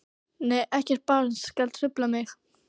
Nei ekkert barn skal trufla mig.